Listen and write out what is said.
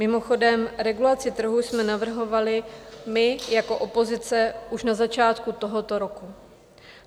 Mimochodem, regulaci trhu jsme navrhovali my jako opozice už na začátku tohoto roku.